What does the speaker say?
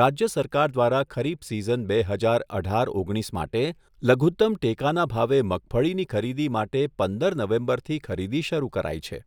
રાજ્ય સરકાર દ્વારા ખરીફ સીઝન બે હજાર અઢાર ઓગણીસ માટે લઘુતમ ટેકાના ભાવે મગફળીની ખરીદી માટે પંદર નવેમ્બરથી ખરીદી શરૂ કરાઈ છે.